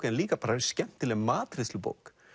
en líka bara skemmtileg matreiðslubók